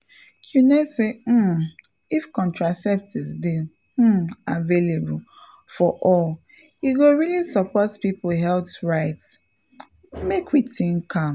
you know say um if contraceptives dey um available for all e go really support people health rights — pause make we think am.